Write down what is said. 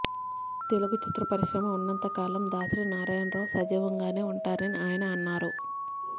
తెలుగు చిత్ర పరిశ్రమ ఉన్నంత కాలం దాసరి నారాయణరావు సజీవంగానే ఉంటారని ఆయన అన్నారు